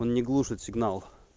он не глушит сигнал